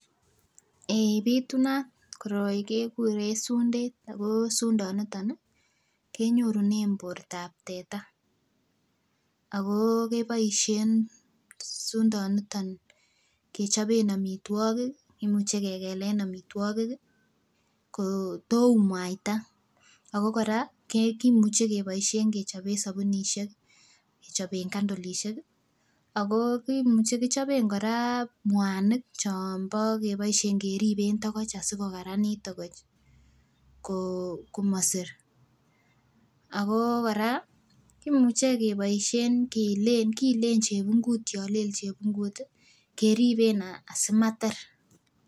Eeh pitunat koroi kekuren sundet ako sundoniton nii kenyorune bortab teta akoo keboishen sundoniton kechobe omitwokik kimuche kekelen omitwokik kii koo too umuaita ako Koraa kimuche kiboishen kechoben sobunishek, kochoben kandilishek kii ako kimuche kichobe Koraa muanik chon bo keboishen keriben tokoch asikokaranit tokoch koo komosir. Akoo Koraa kimuche keboishen kiilen kiilen chepungut yon let chepungut tii keriben asimater.